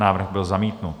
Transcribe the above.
Návrh byl zamítnut.